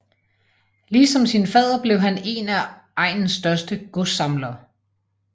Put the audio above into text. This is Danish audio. Ligesom sin fader blev han en af egnens største godssamlere